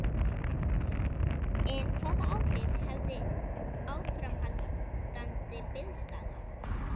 En hvaða áhrif hefði áframhaldandi biðstaða?